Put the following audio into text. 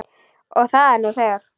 Og er það nú þegar.